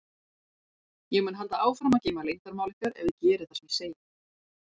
Ég mun halda áfram að geyma leyndarmál ykkar ef þið gerið það sem ég segi.